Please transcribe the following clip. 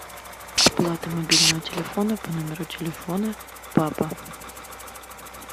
оплата мобильного телефона по номеру телефона папа